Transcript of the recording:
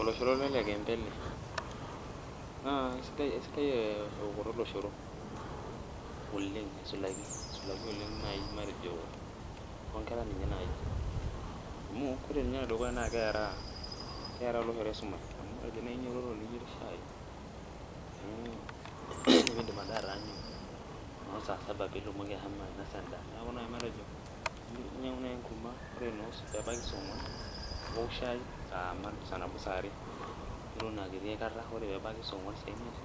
Oloshoro loloikembe ele, naa eisidai eokoto oloshoro loloikembe aisulaki toonkera ninye naaji ,amu ore ninye enedukuya naa keera oloshoro esumashu amu teninyototo naaji niyer shai nimidim ade atareshu saa saba pee itumoki ashomo ainosa endaa neeku naaji metajo inyangu naaji enkurma ore pee ebaiki noosaa ogwan, owok shai saa nabo saa ane ore pee ebaiki saa ogwan ashu saa imiet